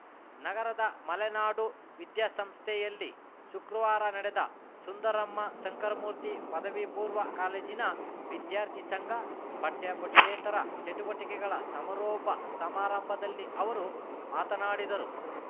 ನಗರದ ಮಲೆನಾಡು ವಿದ್ಯಾ ಸಂಸ್ಥೆಯಲ್ಲಿ ಶುಕ್ರವಾರ ನಡೆದ ಸುಂದರಮ್ಮ ಶಂಕರಮೂರ್ತಿ ಪದವಿಪೂರ್ವ ಕಾಲೇಜಿನ ವಿದ್ಯಾರ್ಥಿ ಸಂಘ ಪಠ್ಯಪಠ್ಯೇತರ ಚಟುವಟಿಕೆಗಳ ಸಮಾರೋಪ ಸಮಾರಂಭದಲ್ಲಿ ಅವರು ಮಾತನಾಡಿದರು